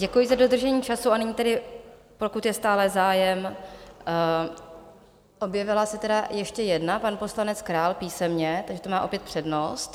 Děkuji za dodržení času a nyní tedy, pokud je stále zájem, objevila se tedy ještě jedna, pan poslanec Král písemně, takže ta má opět přednost.